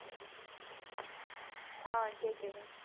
ஆஹ் கேக்குது